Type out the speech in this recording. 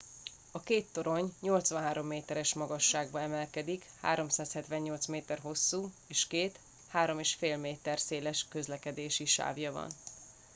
a két torony 83 méteres magasságba emelkedik 378 méter hosszú és két 3,5 méter széles közlekedési sávja van